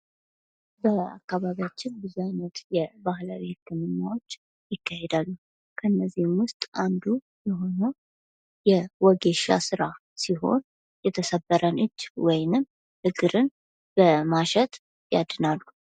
በአካባቢያችን ብዙ አይነት የባህል ህክምናዎች ይካሄዳሉ ከነዚህም ውስጥ አንዱ የሆነው የወጌሻ ስራ ሲሆን የተሰበረን እጅ ወይንም እግርን በማሸት ያድናሉ።